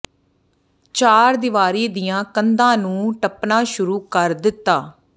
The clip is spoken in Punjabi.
ਚਾਰ ਦੀਵਾਰੀ ਦੀਆਂ ਕੰਧਾਂ ਨੂੰ ਟਪਣਾ ਸ਼ੁਰੂ ਕਰ ਦਿਤਾ